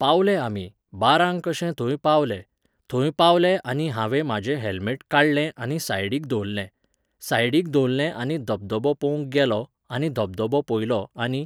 पावले आमी, बारांक कशे थोंय पावले, थोंय पावलें आनी हांवें म्हाजें हॅल्मेट काडलें आनी सायडीक दोल्लें, सायडीक दोल्लें आनी धबधबो पोवंक गेलों, आनी धबधबो पोयलो आनी